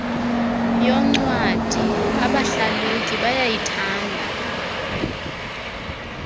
yoncwadi abahlalutyi bayayithanda